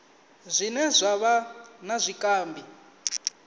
zwine zwa vha na zwikambi